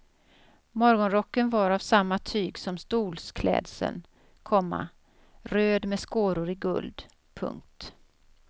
Morgonrocken var av samma tyg som stolsklädseln, komma röd med skåror i guld. punkt